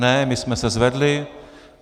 Ne, my jsme se zvedli.